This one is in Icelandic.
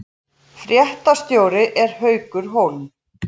Fréttastjóri er Haukur Hólm